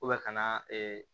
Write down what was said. ka na